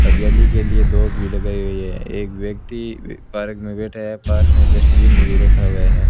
हरियाली के लिए दोब भी लगाई हुई है एक व्यक्ति पार्क में बैठा है पास में डस्टबिन भी रखा हुआ है।